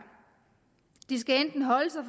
de skal enten holde sig